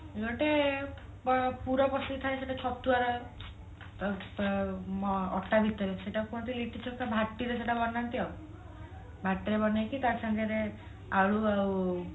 ଗୋଟେ ପୁରା ପସିକି ଥାଏ ସେଇଟା ଛତୁଆ ରେ ଅ ଅଟା ଭିତରେ ସେଇଟାକୁ କୁହନ୍ତି ଲିଟି ଚୋଖା ଭାଟିରେ ସେଇଟା ବନାନ୍ତି ଆଉ ଭାଟିରେ ବନେଇକି ତା ସାଥିରେ ଆଳୁ ଆଉ